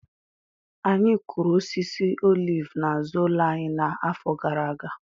Anyị kụrụ osisi olivu n’azụ ụlọ anyị n’afọ gara aga